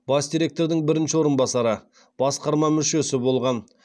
бас директордың бірінші орынбасары басқарма мүшесі болған